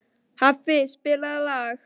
Hafni, spilaðu lag.